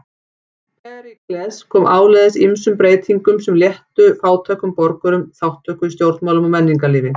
Períkles kom áleiðis ýmsum breytingum sem léttu fátækum borgurum þátttöku í stjórnmálum og menningarlífi.